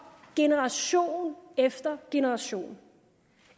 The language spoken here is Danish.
generation efter generation